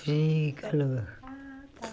Frio e calor. Ah tá